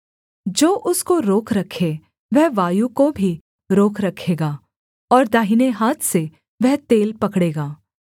जो उसको रोक रखे वह वायु को भी रोक रखेगा और दाहिने हाथ से वह तेल पकड़ेगा